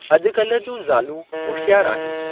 अॼुकल्ह जूं ज़ालूं होशयारु आहिनि।